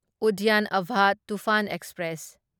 Udyan Abha Toofan express